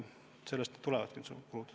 Sellest need kulud tulevad.